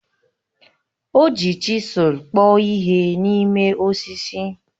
O ji chisụl kpụọ ihe n'ime osisi